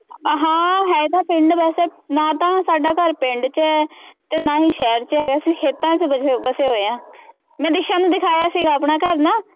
ਹਾਂ ਹੈ ਤਾਂ ਪਿੰਡ ਵੈਸੇ ਨਾ ਤਾਂ ਸਾਡਾ ਘਰ ਪਿੰਡ ਚ ਹੈ ਤੇ ਨਾ ਹੀ ਸ਼ਹਿਰ ਚ ਹੈਗਾ, ਅਸੀਂ ਖੇਤਾਂ ਚ ਬ ਵਸੇ ਹੋਏ ਹਾਂ ਮੈਂ ਦਿਸਾ ਨੂੰ ਦਿਖਾਇਆ ਸੀਗਾ ਆਪਣਾ ਘਰ ਨਾ।